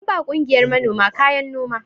An ba ƙungiyar manoma kayan noma.